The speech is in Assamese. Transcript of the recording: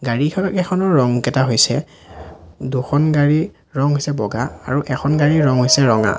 গাড়ীকেইখনৰ ৰং কেইটা হৈছে দুখন গাড়ীৰ ৰং হৈছে বগা আৰু এখন গাড়ীৰ ৰং হৈছে ৰঙা।